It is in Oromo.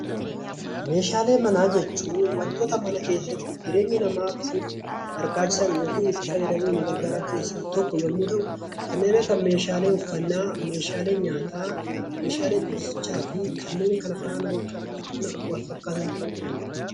Meeshaalee Mana jechuun wantoota mana keessatti jireenya namatiif barbaachisan yookiin itti fayyadamuf nu gargaraan keessa tokko yemmu ta'u, kanneen akka meeshaalee uffanna, meeshaalee nyaata, meeshalee ciusichaa fi kanneen kana faana wal-fakkatan ta'u danda'a.